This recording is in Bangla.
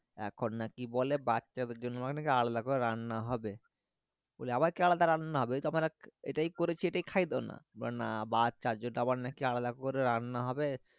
এখন নাকি বলে বাচ্চাদের জন্য নাকি আলাদা করে রান্না হবে বলি আবার কি আলাদা রান্না হবে এটাই করেছি এটাই খায়িয়ে দাও না না বাচ্চা জন্য নাকি আলাদা করে রান্না হবে